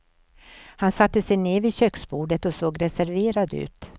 Han satte sig ned vid köksbordet och såg reserverad ut.